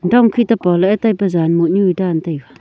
dong khit te pohla ee taipa zan mohnu e dan taiga.